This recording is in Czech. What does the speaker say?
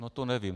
No to nevím.